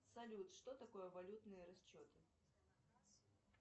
салют что такое валютные расчеты